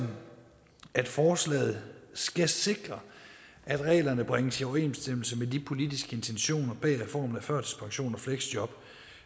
at forslaget skal sikre at reglerne bringes i overensstemmelse med de politiske intentioner bag reformen af førtidspension og fleksjob